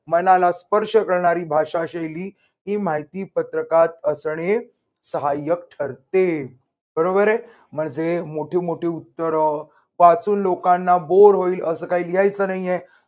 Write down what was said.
मनाला स्पर्श करणारी भाषाशैली ही माहिती पत्रकात असणे साहाय्यक ठरते. बरोबर आहे. म्हणजे मोठी मोठी उत्तर वाचून लोकांना होईल असं काही लिहायचं नाहीये.